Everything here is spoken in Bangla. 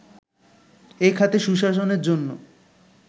এই খাতে সুশাসনের জন্য